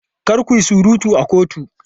Kar ku yi surutu a kotu!